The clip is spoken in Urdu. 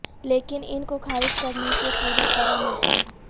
لیکن ان کو خارج کرنے کے پوری طرح ناکام